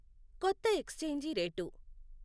కొత్త exchange rate